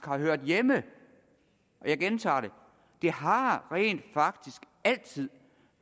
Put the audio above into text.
har hørt hjemme jeg gentager det det har rent faktisk altid